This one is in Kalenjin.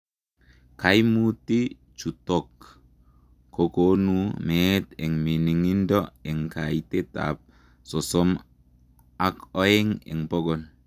Kaimutii chutook kokonuu meet eng miningindo eng kaiteet ap sosom ak oeng eng pokol